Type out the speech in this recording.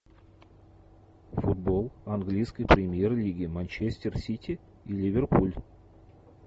футбол английской премьер лиги манчестер сити и ливерпуль